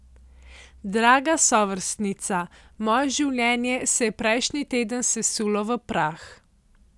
Draga sovrstnica, moje življenje se je prejšnji teden sesulo v prah.